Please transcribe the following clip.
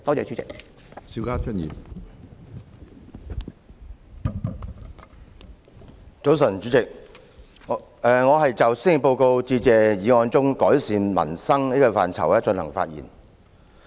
主席，早晨，我就施政報告致謝議案中"改善民生"的範疇發言。